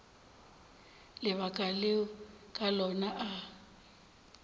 lebaka leo ka lona a